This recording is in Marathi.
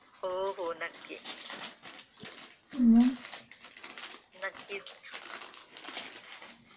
हो हो नक्की, नक्कीच .